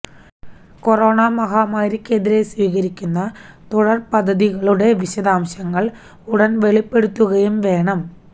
corona മഹാമാരിക്കെതിരെ സ്വീകരിക്കുന്ന തുടർ പദ്ധതികളുടെ വിശദാംശങ്ങൾ ഉടൻ വെളിപ്പെടുത്തുകയും വേണം